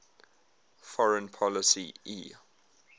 foreign policy e